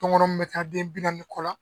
Tɔngɔnɔ mun bɛ taa den bi naani ni kɔ la.